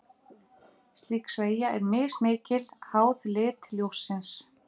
Slík sveigja er mismikil, háð lit ljóssins.